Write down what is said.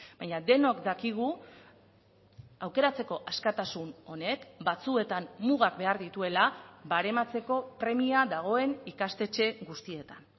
baina denok dakigu aukeratzeko askatasun honek batzuetan mugak behar dituela barematzeko premia dagoen ikastetxe guztietan